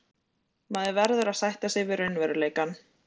Maður verður að sætta sig við raunveruleikann.